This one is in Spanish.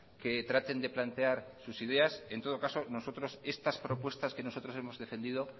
que traten de plantear sus ideas en todo caso nosotros estas propuestas que nosotros hemos defendido